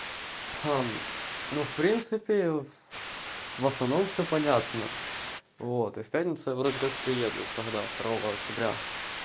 ну в принципе в основном всё понятно вот и в пятницу вроде как приеду тогда второго октября